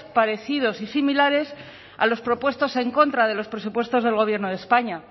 parecidos y similares a los propuestos en contra de los presupuestos del gobierno de españa